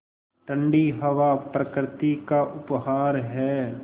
ठण्डी हवा प्रकृति का उपहार है